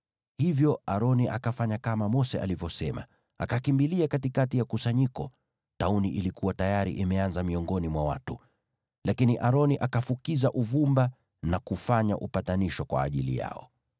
Hivyo Aroni akafanya kama Mose alivyosema, akakimbilia katikati ya kusanyiko. Tauni ilikuwa tayari imeanza miongoni mwa watu, lakini Aroni akafukiza uvumba na kufanya upatanisho kwa ajili yao.